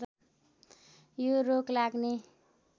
यो रोग लाग्ने